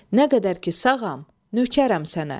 Nə qədər ki sağam, nökərəm sənə.